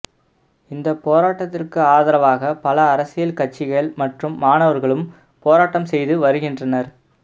இந்த போராட்டத்திற்கு ஆதரவாக பல அரசியல் கட்சிகள் மற்றும் மாணவர்களும் போராட்டம் செய்து வருகின்றனர்